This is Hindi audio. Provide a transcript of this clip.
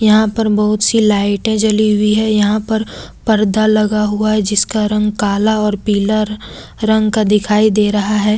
यहां पर बहुत सी लाइटें जली हुई है यहां पर पर्दा लगा हुआ है जिसका रंग काला और पीला रंग का दिखाई दे रहा है।